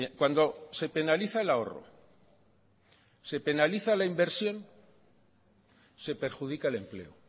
cuando se penaliza el ahorro se penaliza la inversión se perjudica el empleo